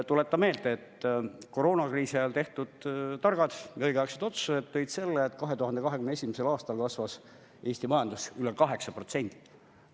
Tuletan meelde, et koroonakriisi ajal tehtud targad ja õigeaegsed otsused tõid selle, et 2021. aastal kasvas Eesti majandus üle 8%.